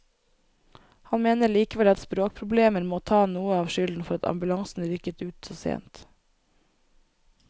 Han mener likevel at språkproblemer må ta noe av skylden for at ambulansen rykket ut så sent.